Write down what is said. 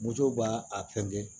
Moto b'a a fɛnkɛ